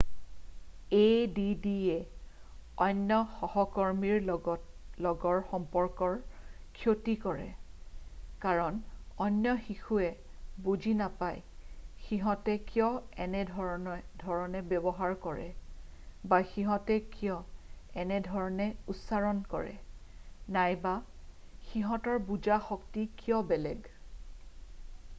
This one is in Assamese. addয়ে অন্য সহকৰ্মীৰ লগৰ সম্পৰ্কৰ ক্ষতি কৰে কাৰণ অন্য শিশুৱে বুজি নাপায় সিহঁতে কিয় এনেধৰণে ব্যৱহাৰ কৰে বা সিহঁতে কিয় এনেধৰণে উচ্চাৰণ কৰে নাইবা সিহঁতৰ বুজা শক্তি কিয় বেলেগ।